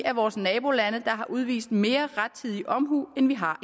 af vores nabolande der har udvist mere rettidig omhu end vi har